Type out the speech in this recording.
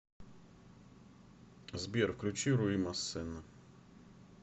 сбер включи руи массена